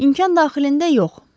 İmkan daxilində yox.